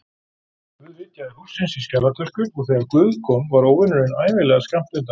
Guð vitjaði hússins í skjalatösku, og þegar guð kom var óvinurinn ævinlega skammt undan.